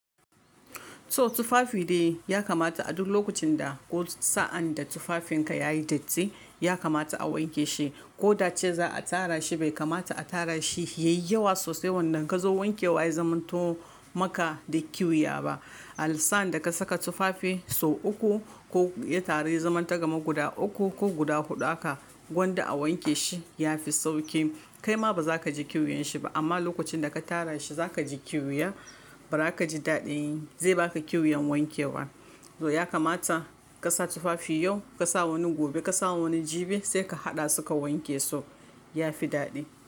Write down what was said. To tufafi dai ya kamata a duk lokacin da ko sa'an da tufafinka yayi datti ya kamata a wanke shi. Ko da cewa za'a tara shi bai kamata a tara shi yayi yawa sosai wanda ka zo wanke wa ya zamanto maka da kiya ba. Alsaan da ka saka tufafi sau uku ko ya taru ya zamanta kaman guda uku ko guda huɗu haka gwanda a wanke shi ya fi sauki. Kai ma ba za ka ji ƙyuyanshi ba amma lokacin da ka tara shi za ka ji kyuya ba za ka ji daɗi. Zai baka kyuyan wanke wa. To ya kamata ka sa tufafi yau, ka sa wani gobe, ka sa wani jibi sai ka haɗa su ka wanke su ya fi daɗi.